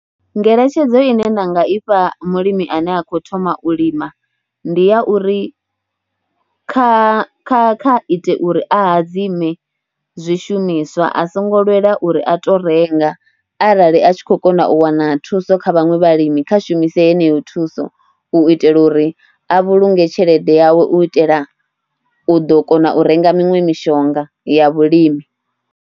Ngeletshedzo ine nda nga ifha mulimi ane a kho thoma u lima ndi ya uri kha kha kha ite uri hadzime zwishumiswa, a songo lwela uri a tou renga arali a tshi khou kona u wana thuso kha vhaṅwe vhalimi, kha shumise heneyo thuso u itela uri a vhulunge tshelede yawe, u itela u ḓo kona u renga miṅwe mishonga ya vhulimi.